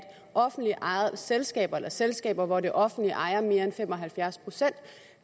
offentligt ejede selskaber sige selskaber hvor det offentlige ejer mere end fem og halvfjerds procent